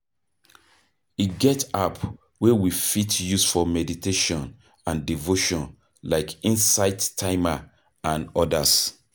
E get app wey we fit use for meditation and devotion like insight timer and odas